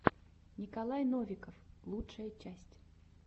николай новиков лучшая часть